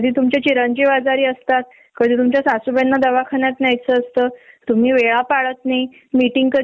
जरा उशिरा गेलो न ते अस इतक छोट तोंड करून बसतात आणि इतके लगेच वैतागतात न त्याची होणारी चिडचिडण बघवत नाही